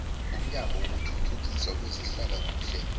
umnyango wokuthuthukiswa kwezehlalakuhle